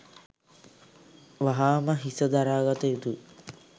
වහාම හිස දරාගත යුතුයි.